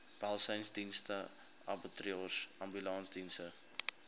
welsynsdienste abattoirs ambulansdienste